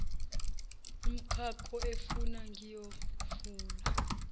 umkakho efuna ngiyovula